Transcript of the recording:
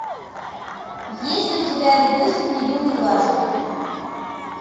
есть ли у тебя видосик не думай дважды